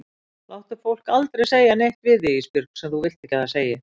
Láttu fólk aldrei segja neitt við þig Ísbjörg sem þú vilt ekki að það segi.